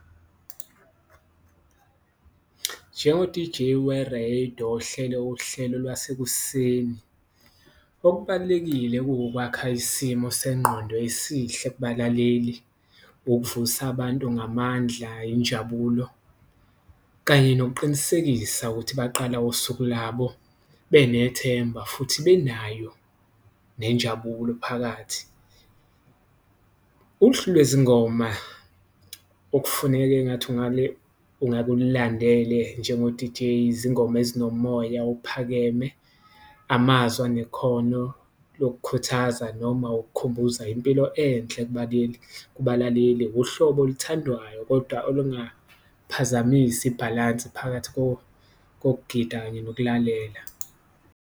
Njengo-D_J wereyido ohlele uhlelo lwasekuseni okubalulekile kuwukwakha isimo sengqondo esihle kubalaleli, ukuvusa abantu ngamandla, injabulo kanye nokuqinisekisa ukuthi baqala usuku labo benethemba futhi benayo nenjabulo phakathi. Uhlu lwezingoma okufuneke engathi ungake ungake ululandele njengo-D_J izingoma ezinomoya ophakeme, amazwi anekhono lokukhuthaza noma ukukhumbuza impilo enhle kubalaleli. Uhlobo oluthandwayo kodwa olungaphazamisi ibhalansi phakathi kokugida kanye nokulalela.